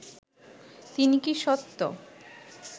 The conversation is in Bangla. তিনি কি সত্য